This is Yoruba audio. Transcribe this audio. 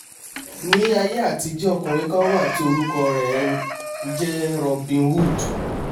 ní aiyé àtijọ́ ọkùnrin kan wà tí orúkọ rè ń jẹ́ robin hood